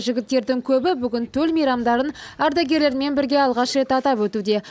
жігіттердің көбі бүгін төл мейрамдарын ардагерлермен бірге алғаш рет атап өтуде